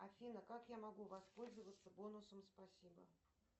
афина как я могу воспользоваться бонусом спасибо